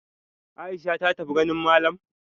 Aisha ta tafi ganin malam?